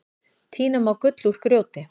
Tína má gull úr grjóti.